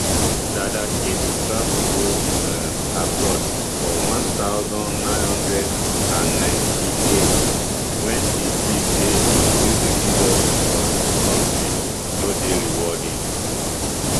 dada kd travel go um abroad for one thousand, nine hundred and ninety-eight wen e see say di music industry for im kontri no dey rewarding